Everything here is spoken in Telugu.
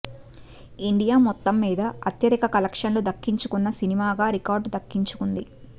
ఇండియా మొత్తం మీద అత్యధిక కలెక్షన్లు దక్కించుకున్న సినిమాగా రికార్డు దక్కించుకుంది